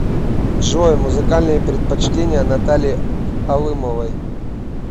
джой музыкальные предпочтения натальи алымовой